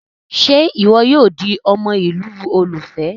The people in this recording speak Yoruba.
Ṣe iwọ yoo di ọmọ ilu olufẹ?